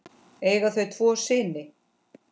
Eiga þau tvo syni.